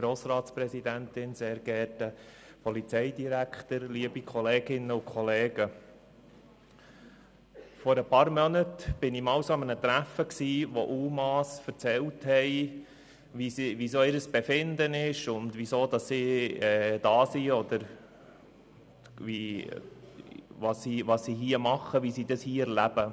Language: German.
Vor ein paar Monaten war ich an einem Treffen, an dem UMA erzählten, wie ihr Befinden ist, weshalb sie hier sind, was sie hier tun und wie sie das erleben.